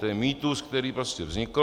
To je mýtus, který prostě vznikl.